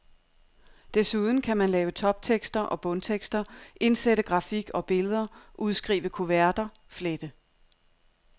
Desuden kan man lave toptekster og bundtekster, indsætte grafik og billeder, udskrive kuverter, flette.